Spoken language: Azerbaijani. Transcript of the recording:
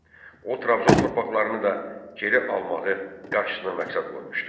O, Trabzon torpaqlarını da geri almağı qarşısına məqsəd qoymuşdu.